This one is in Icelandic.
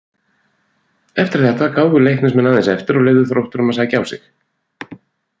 Eftir þetta gáfu Leiknismenn aðeins eftir og leyfðu Þrótturum að sækja á sig.